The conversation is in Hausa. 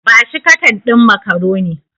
Ba shi katan ɗin macaroni.